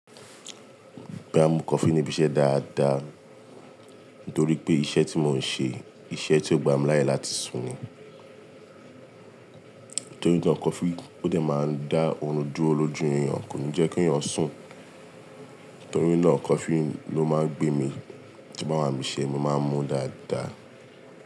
Bí a mu coffee ni ibi iṣẹ́ dáadáa nítorí pé iṣẹ́ tí mò ń ṣe, iṣẹ́ tí ó gbà mí láyè láti sùn ni. Nítorí náà coffee ó dè máa ń dá oorun dúró lójú èyàn, kò ní jẹ́ kí èyàn sùn. Nítorí náà coffee ló máa ń gbé mi tí ń bá wà bi iṣẹ́, mo máa ń mu dáadáa.